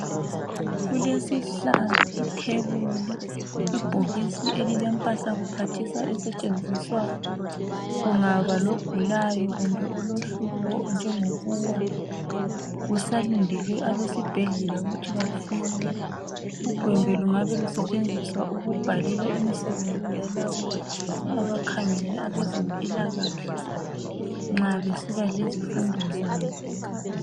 Kulesihlahla lethebuli, ibhokisi elilempahla kuphathisa esetshenziswa kungaba logulayo kumbe olohlupho njengokuwa kusalindelwe abesibhedlela ukuthi bafike. Ugwembe lungabe lusetshenziswa ukubhalela imisebenzi yalabo abakhangele ngezempilakahle nxa besiba lezifundo zabo.